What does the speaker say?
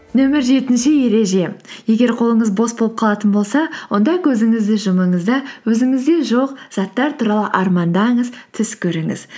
нөмір жетінші ереже егер қолыңыз бос болып қалатын болса онда көзіңізді жұмыңыз да өзіңізде жоқ заттар туралы армандаңыз түс көріңіз